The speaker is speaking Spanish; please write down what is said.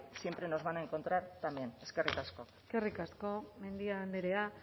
siempre nos van a encontrar también eskerrik asko eskerrik asko mendia andrea